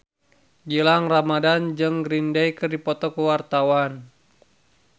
Gilang Ramadan jeung Green Day keur dipoto ku wartawan